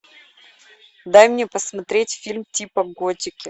дай мне посмотреть фильм типа готики